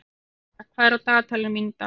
Valka, hvað er á dagatalinu mínu í dag?